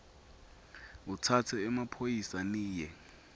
utsatse emaphoyisa niye